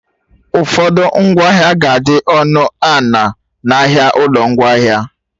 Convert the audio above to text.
Ụfọdụ ngwaahịa ga-adị ọnụ a na- n'ahịa ụlọ ngwaahịa